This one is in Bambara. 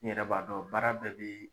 E yɛrɛ b'a dɔn baara bɛɛ bi.